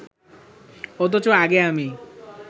অথচ আগে আমি